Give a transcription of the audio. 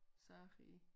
Sager i